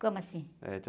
Como assim?h, tinha...